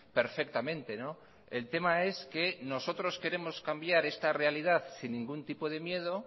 perfectamente el tema es que nosotros queremos cambiar esta realidad sin ningún tipo de miedo